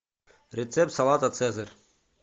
рецепт салата цезарь